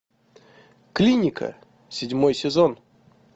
клиника седьмой сезон